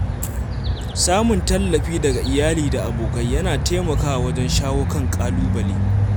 Samun tallafi daga iyali da abokai yana taimakawa wajen shawo kan ƙalubale.